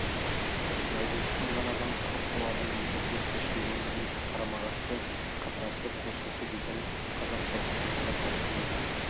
найзасы сынған адам құр қол адаммен бірдей қылыш деген қарама-қарсы қасарысып қылыштасу деген қазақ соғыстарының салтына кірмеген